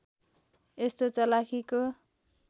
यस्तो चलाखीको